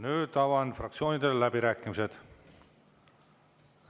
Nüüd avan fraktsioonidele läbirääkimised.